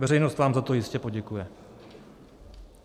Veřejnost vám za to jistě poděkuje.